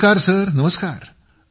नमस्कार सर नमस्कार